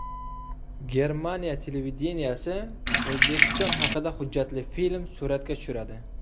Germaniya televideniyesi O‘zbekiston haqida hujjatli film suratga tushiradi.